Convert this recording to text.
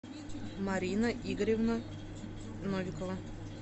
марина игоревна новикова